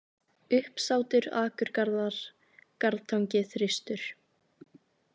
Uppsátur, Akurgarðar, Garðatangi, Þristur